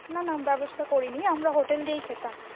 না না ব্যবস্থা করিনি আমরা হোটেল থেকেই খেতাম